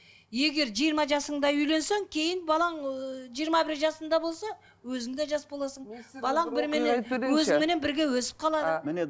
егер жиырма жасыңда үйленсең кейін балаң ыыы жиырма бір жасында болса өзің де жас боласың балаң бірменен өзіңменен бірге өсіп қалады міне